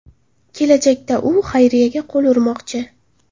Kelajakda u xayriyaga qo‘l urmoqchi.